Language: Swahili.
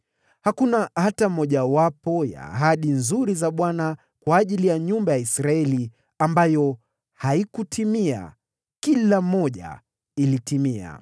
Hakuna hata mojawapo ya ahadi nzuri ya Bwana kwa nyumba ya Israeli ambayo haikutimia; kila moja ilitimia.